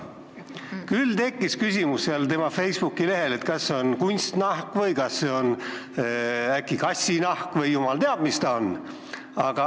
Tema Facebooki lehel tekkis küsimus, kas see on kunstnahk või äkki kassinahk või jumal teab, mis ta on.